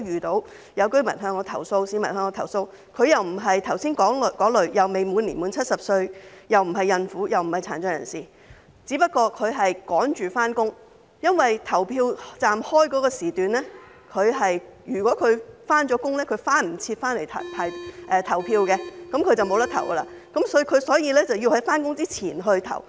曾有市民向我投訴，他不是剛才提及的那數類人，即他未滿70歲，亦不是孕婦或殘疾人士，他只是趕着上班；因為投票站的開放時段所限，他上班後便會趕不及回來投票，失去投票的機會，所以他要在上班前投票。